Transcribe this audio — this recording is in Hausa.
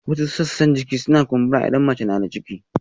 Wasu sassan jiki suna kumbura idan mace tana da ciki